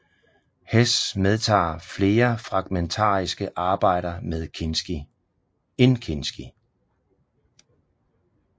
Hess medtager flere fragmentariske arbejder end Kinsky